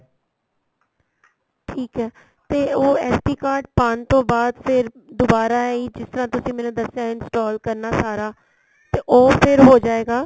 ਠੀਕ ਏ ਤੇ ਉਹ SD card ਪਾਨ ਤੋਂ ਬਾਅਦ ਫ਼ਿਰ ਦੁਬਾਰਾ ਇਹੀ ਜਿਸ ਤਰ੍ਹਾਂ ਤੁਸੀਂ ਮੈਨੂੰ ਦਸਿਆ install ਕਰਨਾ ਸਾਰਾ ਤੇ ਉਹ ਫ਼ਿਰ ਹੋ ਜਾਏਗਾ